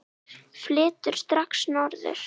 Flyturðu strax norður?